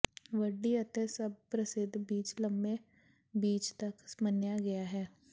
ਵੱਡੀ ਅਤੇ ਸਭ ਪ੍ਰਸਿੱਧ ਬੀਚ ਲੰਮੇ ਬੀਚ ਤੱਕ ਮੰਨਿਆ ਗਿਆ ਹੈ